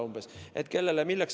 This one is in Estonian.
Kellele milleks antakse?